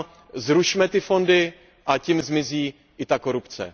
říkám, zrušme fondy a tím zmizí i ta korupce.